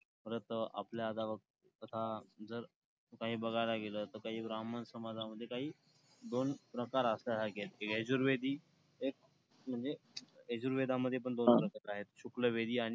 परत अं आपल्या जर काही बघायला गेलं तर काही ब्राम्हण समाजामध्ये काही दोन प्रकार असं आहे यजुर्वेदी एक म्हणजे यजुर्वेदामध्ये पण दोन प्रकार आहेत , शुक्लवेदी आणि